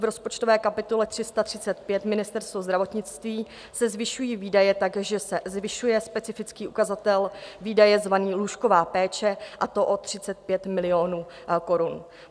V rozpočtové kapitole 335 Ministerstvo zdravotnictví se zvyšují výdaje tak, že se zvyšuje specifický ukazatel výdaje zvaný Lůžková péče, a to o 35 milionů korun.